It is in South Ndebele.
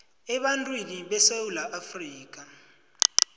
ebantwini besewula afrika